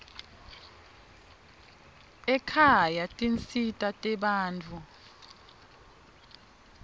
ekhaya tinsita tebantfu